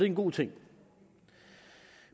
en god ting